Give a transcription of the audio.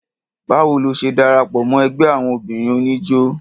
Báwo lo ṣe darapọ̀ mọ́ ẹgbẹ́ àwon obìnrin oníjó?